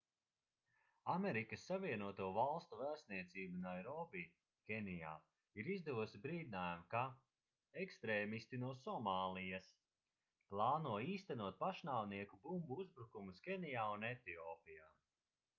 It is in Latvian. amerikas savienoto valstu vēstniecība nairobi kenijā ir izdevusi brīdinājumu ka ekstrēmisti no somālijas plāno īstenot pašnāvnieku bumbu uzbrukumus kenijā un etiopijā